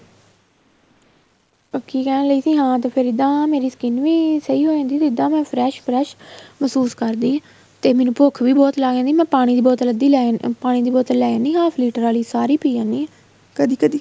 ਉਹ ਕੀ ਕਹਿਣ ਲਈ ਸੀ ਹਾਂ ਤੇ ਫ਼ੇਰ ਇੱਦਾਂ ਮੇਰੀ skin ਵੀ ਸਹੀਂ ਹੋ ਜਾਂਦੀ ਤੇ ਏਹਦਾਂ ਮੈਂ fresh fresh ਮਹਿਸੂਸ ਕਰਦੀ ਤੇ ਮੈਨੂੰ ਭੁੱਖ ਵੀ ਬਹੁਤ ਲੱਗ ਜਾਂਦੀ ਮੈਂ ਪਾਣੀ ਦੀ ਬੋਤਲ ਅੱਧੀ ਲੈ ਪਾਣੀ ਦੀ ਬੋਤਲ ਲੇ ਆਣੀ half liter ਆਲੀ ਸਾਰੀ ਪੀ ਜਾਂਦੀ ਆ ਕਦੀਂ ਕਦੀਂ